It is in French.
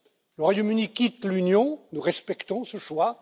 Le Royaume Uni quitte l'Union, nous respectons ce choix.